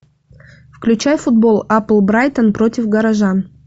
включай футбол апл брайтон против горожан